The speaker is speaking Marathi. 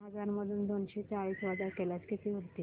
तीन हजार मधून दोनशे चाळीस वजा केल्यास किती उरतील